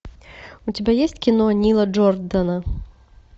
у тебя есть кино нила джордана